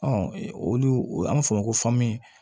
olu an bɛ fɔ o ma ko